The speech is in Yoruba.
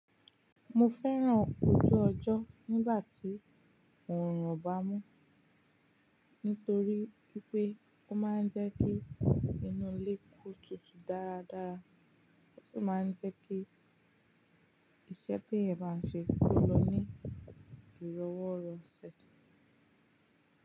Mo fẹ́ràn ojú ọjọ́ nígbà tí òòrùn o bá mú, nítorí wípé ó máa ń jẹ́ kí inu ilé ko tutù dára dára, ó sì máa ń jẹ́ kí iṣẹ́ tí ẹ̀yàn bá ń ṣe kó lọ ní ìrọwọ́rọsẹ̀